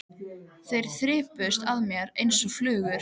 Þeir þyrptust að mér einsog flugur.